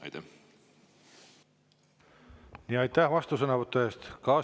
Aitäh vastusõnavõtu eest!